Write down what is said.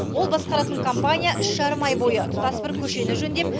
ол басқаратын компания үш жарым ай бойы тұтас бір көшені жөндеп